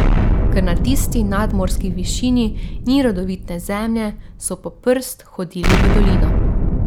Ker na tisti nadmorski višini ni rodovitne zemlje, so po prst hodili v dolino.